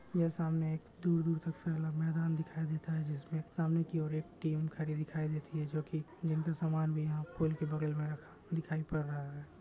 ये सामने एक दूर -दूर तक फैला मैदान दिखाई देता हैं जिसमें सामने की ओर एक टीम खड़ी दिखाई देती है जो की जिनके समान भी यहाँ पोल के बगल में रखा दिखाई पड़ रहा हैं।